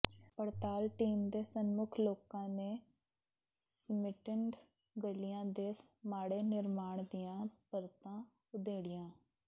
ਪੜਤਾਲ ਟੀਮ ਦੇ ਸਨਮੁੱਖ ਲੋਕਾਂ ਨੇ ਸੀਮਿੰਟਡ ਗਲੀਆਂ ਦੇ ਮਾੜੇ ਨਿਰਮਾਣ ਦੀਆਂ ਪਰਤਾਂ ਉਧੇੜੀਆਂ